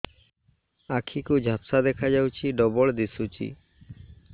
ଆଖି କୁ ଝାପ୍ସା ଦେଖାଯାଉଛି ଡବଳ ଦିଶୁଚି